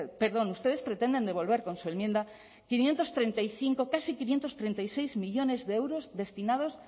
perdón ustedes pretenden devolver con su enmienda quinientos treinta y cinco casi quinientos treinta y seis millónes de euros destinados